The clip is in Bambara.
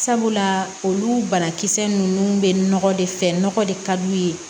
Sabula olu banakisɛ ninnu bɛ nɔgɔ de fɛ nɔgɔ de ka d'u ye